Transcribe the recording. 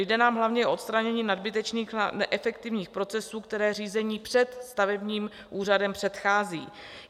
Jde nám hlavně o odstranění nadbytečných neefektivních procesů, které řízení před stavebním úřadem předchází.